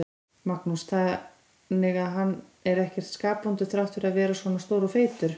Magnús: Þannig að hann er ekkert skapvondur þrátt fyrir að vera svona stór og feitur?